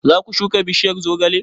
Zaka shuka bishiyar zogale?